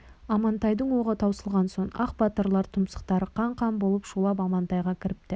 амантайдың оғы таусылған соң ақ батырлар тұмсықтары қан-қан болып шулап амантайға кіріпті